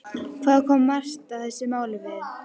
Hvað kom Marta þessu máli við?